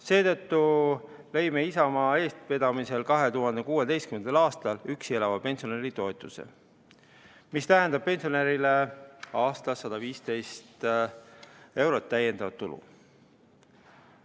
Seetõttu lõime Isamaa eestvedamisel 2016. aastal üksi elava pensionäri toetuse, mis tähendab pensionärile aastas 115 eurot lisatulu.